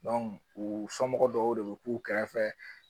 u somɔgɔw dɔw de be k'u kɛrɛfɛ